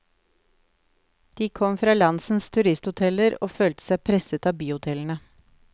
De kom fra landsens turisthoteller og følte seg presset av byhotellene.